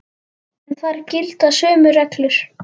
En þar gilda sömu reglur.